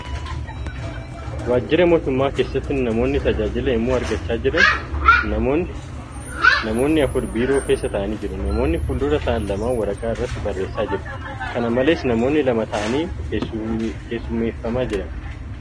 Waaajjira mootummaa keessatti namoonni tajaajila yemmuu argachaa jiran. Namoonni afur biiroo keessa taa'aanii jiru. Namoonni fuuldura taa'an lamaan waraqaa irratti barreessaa jiru . Kana malees, namoonni lama taa'aanii keessummeeffamaa jiru.